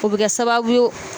O bi kɛ sababu ye